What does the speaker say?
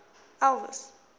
elvis